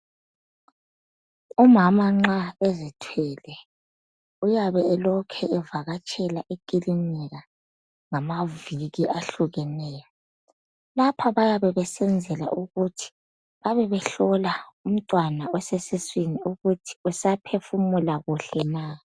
Umama nxa ezithwele uyabe elokhe evakatshela ekilinika ngamaviki ahlukeneyo. Lapha bayabe besenzela ukuthi babe behlola umntwana osesiswini ukuthi usaphefumula kuhle na.